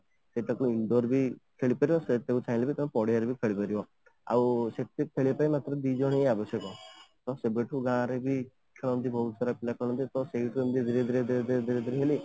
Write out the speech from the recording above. ସେଇଟା କୁ indoor ବି ଖେଳିପାରିବ ସେଇଟାକୁ ଚାହିଁଲେ ପଡିଆ ରେ ବି ଖେଳିପାରିବ ଆଉ cricket ଖେଳିବା ପାଇଁ ମାତ୍ରା ଦି ଜଣ ହିଁ ଆବଶ୍ୟକ ଆଉ ସେବେଠୁ ଗାଁ ରେ ବି ଖେଳନ୍ତି ବହୁତ ସାରା ପିଲା ଖେଳନ୍ତି ତା ସେଇଠୁ ହିଁ ଧୀରେ ଧୀରେ ଧୀରେ ଧୀରେ ଧୀରେ ଧୀରେ